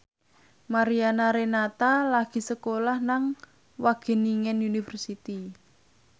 Mariana Renata lagi sekolah nang Wageningen University